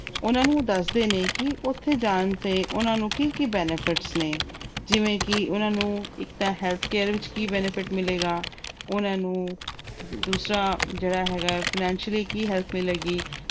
ਉਹਨਾਂ ਨੂੰ ਦੱਸਦੇ ਨੇ ਕਿ ਉੱਥੇ ਜਾਣ ਦੇ ਉਹਨਾਂ ਨੂੰ ਕੀ-ਕੀ benefits ਨੇ ਜਿਵੇਂ ਇੱਕ ਤਾਂ ਉਹਨਾਂ ਨੂੰ ਇੱਕ ਤਾਂ healthcare ਵਿੱਚ ਕੀ benefit ਮਿਲੇਗਾ ਤੇ ਉਹਨਾਂ ਨੂੰ ਦੂਸਰਾ ਜਿਹੜਾ ਹੈਗਾ, financially ਕੀ help ਮਿਲੇਗੀ।